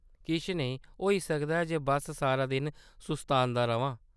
किश नेईं, होई सकदा ऐ बस्स सारा दिन सुस्तांदा र'मां।